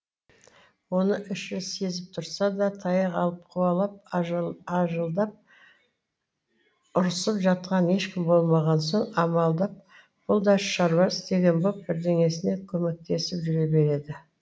оны іші сезіп тұрса да таяқ алып қуалап ажылдап ұрсып жатқан ешкім болмаған соң амалдап бұл да шаруа істеген боп бірдеңесіне көмектесіп жүре береді